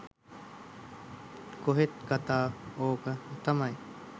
කොහෙත් කථාව ඕක තමයි.